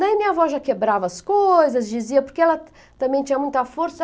Daí minha avó já quebrava as coisas, dizia, porque ela também tinha muita força.